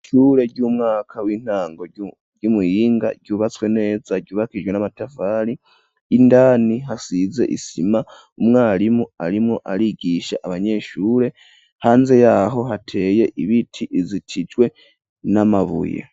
Ishure ry'umwaka w'intango ry'umuhinga ryubatswe neza ryubakijwe n'amatafari indani hasize isima umwarimu arimwo arigisha abanyeshure hanze yaho hateye ibiti bizitijwe n'amabuye.